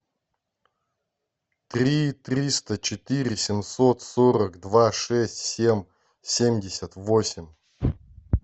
три триста четыре семьсот сорок два шесть семь семьдесят восемь